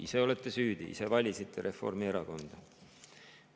Ise olete süüdi, et valisite Reformierakonda.